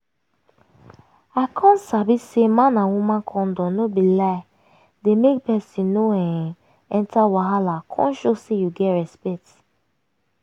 i come sabi say man and woman condom no be lie dey make person no um enter wahala come show say you get respect